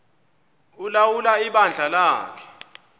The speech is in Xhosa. ulawula ibandla lakhe